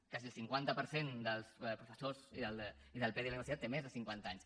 quasi el cinquanta per cent dels professors i del pdi de la universitat tenen més de cinquanta anys